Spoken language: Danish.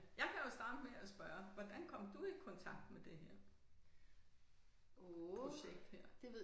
Jeg kan jo starte med at spørge hvordan kom du i kontakt med det her projekt her